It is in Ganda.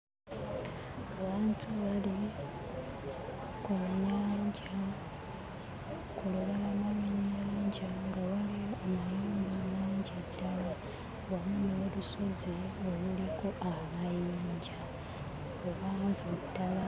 Abantu bali ku nnyanja ku lubalama lw'ennyanja nga waliwo amayumba mangi ddala wamu n'olusozi oluliko amayinja luwanvu ddala.